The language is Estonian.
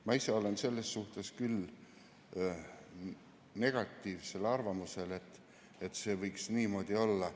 Ma ise olen küll negatiivsel arvamusel selles suhtes, et see võiks niimoodi olla.